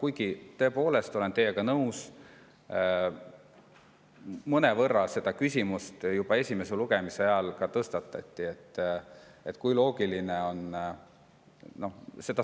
Aga ma tõepoolest olen teiega nõus ja mõnevõrra see küsimus tõstatati juba esimese lugemise ajal, et kui loogiline see on.